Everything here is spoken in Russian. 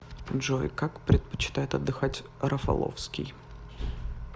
джой как предпочитает отдыхать рафаловский